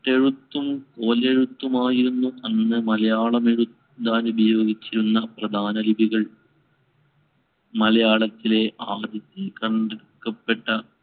വട്ടഴെത്തും കോലെഴുത്തും ആയിരുന്നു അന്ന് മലയാളം എഴുതാൻ ഉപയോഗിച്ചിരുന്ന പ്രധാനലിപികൾ. മലയാളത്തിലെ ആദ്യത്തെ കണ്ടെടുക്കപ്പെട്ട